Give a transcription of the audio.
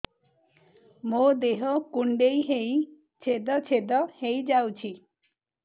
ମୋ ଦେହ କୁଣ୍ଡେଇ ହେଇ ଛେଦ ଛେଦ ହେଇ ଯାଉଛି